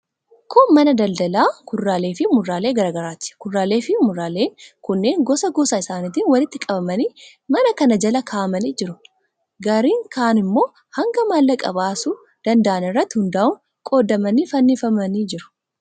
Kun mana daldalaa kuduraaleefi muduraalee garaa garaati. Kuduraaleefi muduraaleen kunneen gosa gosa isaaniitiin walitti qabamanii mana kana jala kaa'amanii jiru. Garri kaan immoo hanga maallaqa baasuu danda'an irratti hundaa'uun qoodamanii fannifamanii jiru.